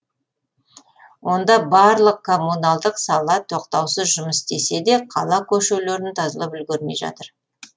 онда барлық коммуналдық сала тоқтаусыз жұмыс істесе де қала көшелерін тазалап үлгермей жатыр